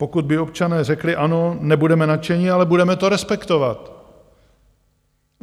Pokud by občané řekli "ano", nebudeme nadšeni, ale budeme to respektovat.